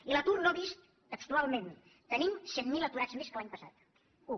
i l’atur no vist textualment tenim cent mil aturats més que l’any passat u